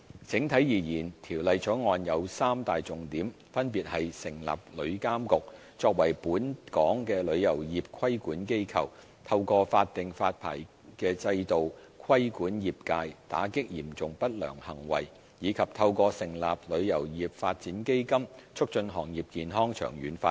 整體而言，《條例草案》有三大重點，分別是：成立旅監局，作為本港旅遊業的規管機構；透過法定發牌制度規管業界，打擊嚴重不良行為，以及透過成立旅遊業發展基金，促進行業健康長遠發展。